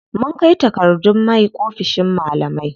Mun kai takardun my oficin malamai.